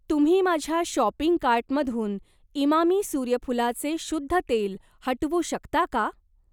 तुम्ही माझ्या शॉपिंग कार्टमधून इमामी सूर्यफूलाचे शुद्ध तेल हटवू शकता का